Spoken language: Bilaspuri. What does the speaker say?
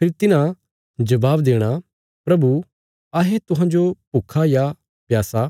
फेरी तिन्हां जबाब देणा प्रभु अहें तुहांजो भुक्खा या प्यासा